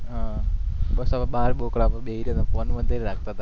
હા બસ સબ બાર બોકડા પર બેહી રહ્યા હતા પોન જાગતા હતા